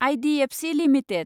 IDFC limited